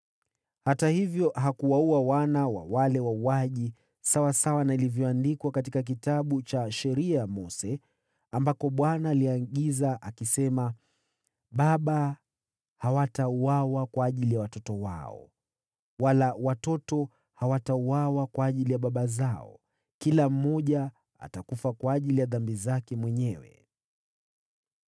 Hata hivyo, hakuwaua wana wa wale wauaji, sawasawa na ilivyoandikwa katika Kitabu cha Sheria ya Mose ambako Bwana aliamuru, “Baba hawatauawa kwa ajili ya watoto wao, wala watoto kwa ajili ya baba zao. Kila mmoja atakufa kwa ajili ya dhambi zake mwenyewe.”